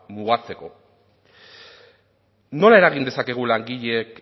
mugatzeko nola eragin dezakegu langileek